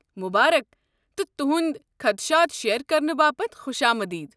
مبارک، تہٕ تُہُنٛد خدشات شییر كرنہٕ باپت خۄش آمدید ۔